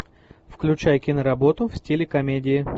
включай киноработу в стиле комедии